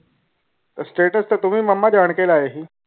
ਤੇ ਤੁਵੀ ਮਾਮਾ ਜਾਨ ਕੇ ਲਾਏ ਸੀ